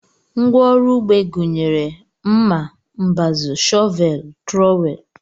Ngwa ọrụ ugbo gụnyere ọgụ, mma, mbazụ, shọvel, trọwel